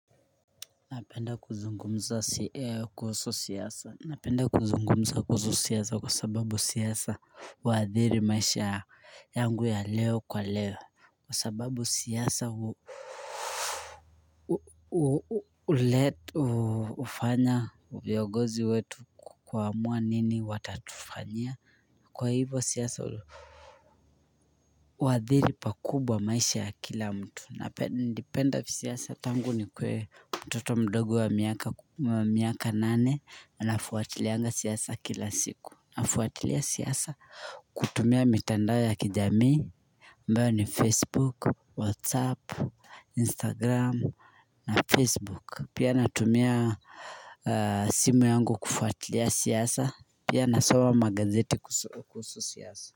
Napenda kuzungumza kuhusu siasa Napenda kuzungumza kuhusu siasa kwa sababu siasa haathiri maisha yangu ya leo kwa leo Kwa sababu siasa hufanya viongozi wetu kuamua nini watatufanyia kwa hivyo siasa huathiri pakubwa maisha ya kila mtu napenda siasa tangu nikuwe mtoto mdogo wa miaka nane na nafuatilianga siasa kila siku Nafuatilia siasa kutumia mitandao ya kijamii ambayo ni facebook, whatsapp, instagram na facebook Pia natumia simu yangu kufuatilia siasa Pia nasoma magazeti kuhusu siasa.